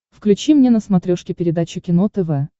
включи мне на смотрешке передачу кино тв